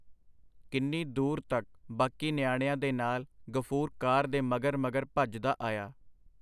ਕਿੰਨੀ ਦੂਰ ਤਕ ਬਾਕੀ ਨਿਆਣਿਆਂ ਦੇ ਨਾਲ ਗ਼ਫੂਰ ਕਾਰ ਦੇ ਮਗਰ ਮਗਰ ਭੱਜਦਾ ਆਇਆ.